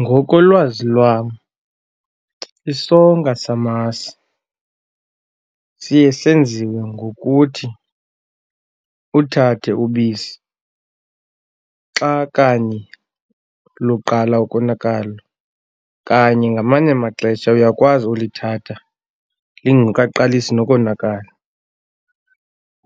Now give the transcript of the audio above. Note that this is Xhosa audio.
Ngokolwazi lwam isonka samasi siye senziwe ngokuthi uthathe ubisi xa kanye luqala ukonakala. Kanye ngamanye amaxesha uyakwazi ulithatha lingekaqalisi nokonzakala